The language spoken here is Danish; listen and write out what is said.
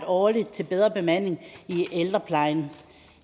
årligt til bedre bemanding i ældreplejen